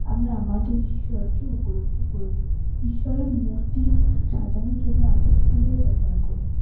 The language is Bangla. আমরা আমাদের ঈশ্বরকে উপলব্ধি করে থাকি। ঈশ্বরের মূর্তি সাজানোর জন্য আমরা ফুলের ব্যবহার করি ।